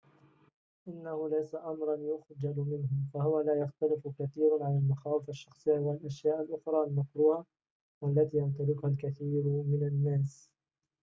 إنه ليس أمراً يُخجل منه فهو لا يختلف كثيراُ عن المخاوف الشخصية و الأشياء الأخرى المكروهة و التي يمتلكها الكثير من الناس